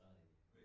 Så øh